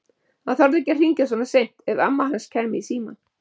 Hann þorði ekki að hringja svona seint, ef amma hans kæmi í símann.